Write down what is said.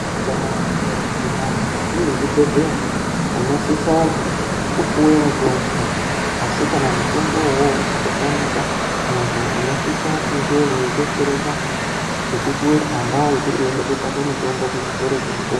Kana ukaguma mukati mwezvibhedhleya unosisa kupuwe mutombo. Asi kana mutombo ivovo ukatamika muntu unosisa kunge veibetsereka ngekupuwe tsamba yekuti uende kotsvaka mitombo kuzvitoro zvemutombo.